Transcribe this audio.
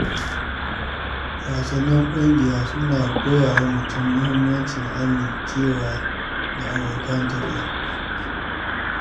Wasannin ƙungiya suna koya wa mutum muhimmancin amincewa da abokan tafiya.